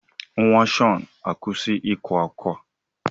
Nwa Shawn, akwụsị ịkwa ákwá!